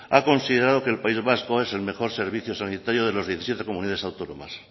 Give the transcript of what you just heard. ha considerado que el país vasco es el mejor servicio sanitario de las diecisiete comunidades autónomas